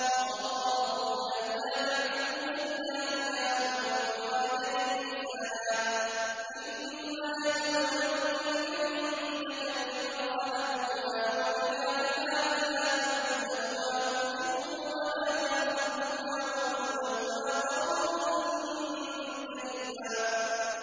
۞ وَقَضَىٰ رَبُّكَ أَلَّا تَعْبُدُوا إِلَّا إِيَّاهُ وَبِالْوَالِدَيْنِ إِحْسَانًا ۚ إِمَّا يَبْلُغَنَّ عِندَكَ الْكِبَرَ أَحَدُهُمَا أَوْ كِلَاهُمَا فَلَا تَقُل لَّهُمَا أُفٍّ وَلَا تَنْهَرْهُمَا وَقُل لَّهُمَا قَوْلًا كَرِيمًا